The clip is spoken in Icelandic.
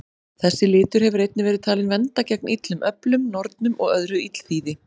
Þessi litur hefur einnig verið talinn vernda gegn illum öflum, nornum og öðru illþýði.